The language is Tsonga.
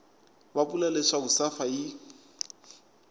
va vula leswaku safa yi